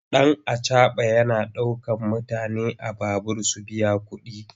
Ɗan acaɓa yana ɗaukar mutane a babur su biya kuɗi.